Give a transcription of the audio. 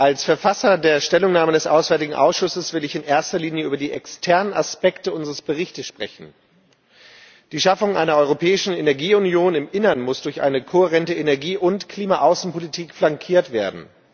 Als Verfasser der Stellungnahme des Ausschusses für auswärtige Angelegenheiten will ich in erster Linie über die externen Aspekte unseres Berichts sprechen. Die Schaffung einer europäischen Energieunion im Innern muss durch eine kohärente Energie und Klima Außenpolitik flankiert werden.